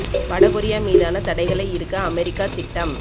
வட கொரியா மீதான தடைகளை இறுக்க அமெரிக்கா திட்டம்